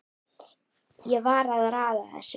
Ég var að raða þessu